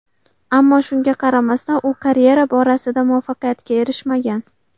Ammo shunga qaramasdan, u karyera borasida muvaffaqiyatga erishmagan.